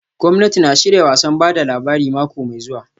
Gwamnati na shirya wasan ba da labari mako mai zuwa